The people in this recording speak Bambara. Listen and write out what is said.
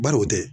Baro o tɛ